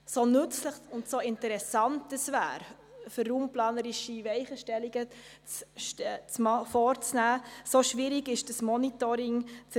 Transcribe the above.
So nützlich und interessant es wäre, um raumplanerische Weichenstellungen vorzunehmen, so schwierig ist die Erstellung eines solchen Monitorings.